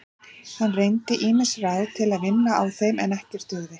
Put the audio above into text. Hann reyndi ýmis ráð til að vinna á þeim en ekkert dugði.